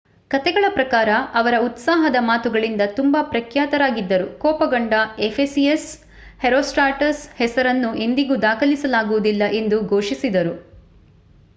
ಕಥೆಗಳ ಪ್ರಕಾರ ಅವರ ಉತ್ಸಾಹದ ಮಾತುಗಳಿಂದ ತುಂಬಾ ಪ್ರಖ್ಯಾತರಾಗಿದ್ದರು ಕೋಪಗೊಂಡ ಎಫೆಸಿಯನ್ಸ್ ಹೆರೋಸ್ಟ್ರಾಟಸ್ ಹೆಸರನ್ನು ಎಂದಿಗೂ ದಾಖಲಿಸಲಾಗುವುದಿಲ್ಲ ಎಂದು ಘೋಷಿಸಿದರು